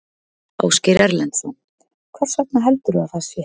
Ásgeir Erlendsson: Hvers vegna heldurðu að það sé?